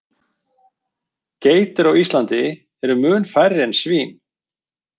Geitur á Íslandi eru mun færri en svín.